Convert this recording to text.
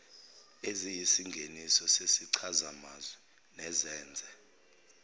eziyisingeniso sezichazamazwi nezenze